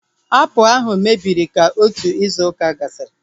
Apụl ahu mebiri ka otu izu ụka gasịrị